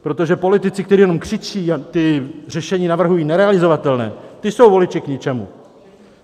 Protože politici, kteří jenom křičí a ta řešení navrhují nerealizovatelná - ta jsou voliči k ničemu.